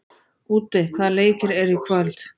Úddi, hvaða leikir eru í kvöld?